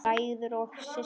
Bræður og systur!